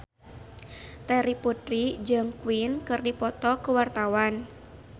Terry Putri jeung Queen keur dipoto ku wartawan